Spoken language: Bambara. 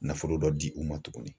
Nafolo dɔ di u ma tuguni.